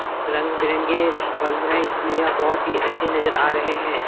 रंग-बिरंगे बल्ब हैं इसलिए यह बहुत ही अच्छे नजर आ रहे हैं।